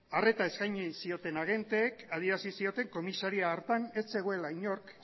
arreta eskaini zioten agenteek adierazi zioten komisaria hartan ez zegoela inork